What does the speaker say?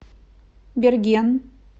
берген